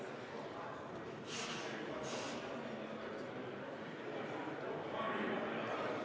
Tere hommikust, hea eesistuja ja head kolleegid!